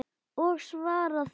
Og svara því.